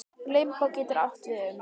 Limbó getur átt við um